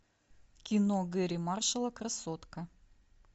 кино гэри маршалла красотка